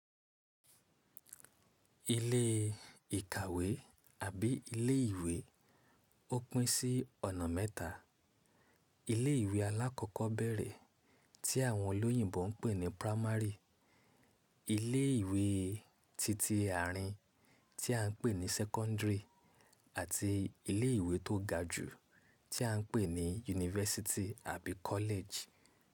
Ilé ìkàwé àbí ilé ìwé ó pín sí ọ̀nà mẹ́ta: ilé ìwé alákọ̀ọ́bẹ̀rẹ̀ tí àwọn olóyìnbo ń pè ní primary, ilé ìwé titi àárín tí à ń pè ní secondary àti ilé ìwé tó ga jù tí à ń pè ní yunifásítì àbí kọ́lẹ̀jì.